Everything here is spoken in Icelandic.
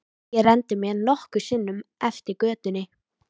Ég renndi mér nokkrum sinnum eftir götunni.